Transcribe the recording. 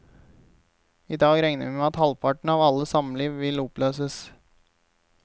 I dag regner vi med at halvparten av alle samliv vil oppløses.